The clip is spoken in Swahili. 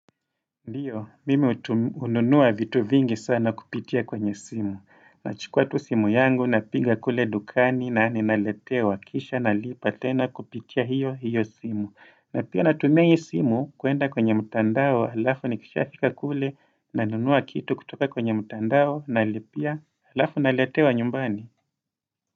Ndiyo, mimi hununua vitu vingi sana kupitia kwenye simu. Nachukua tu simu yangu napiga kule dukani na ninaletewa kisha na lipa tena kupitia hiyo hiyo simu. Na pia natumia hii simu kuenda kwenye mtandao alafu nikisha fika kule nanunua kitu kutoka kwenye mtandao nalipia alafu naletewa nyumbani.